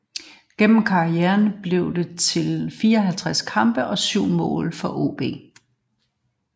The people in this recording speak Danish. Gennem karrieren blev det til 54 kampe og 7 mål for AaB